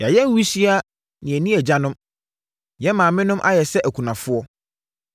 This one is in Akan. Yɛayɛ nwisiaa na yɛnni agyanom, yɛn maamenom ayɛ sɛ akunafoɔ.